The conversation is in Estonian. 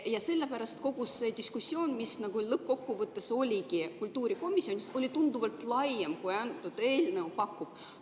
Ja sellepärast kogu see diskussioon, mis lõppkokkuvõttes oligi kultuurikomisjonis, oli tunduvalt laiem, kui antud eelnõu pakub.